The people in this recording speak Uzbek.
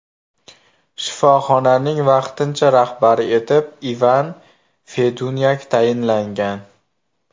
Shifoxonaning vaqtincha rahbari etib Ivan Fedunyak tayinlangan.